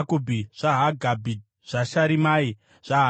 zvaHagabhi, zvaSharimai, zvaHanani,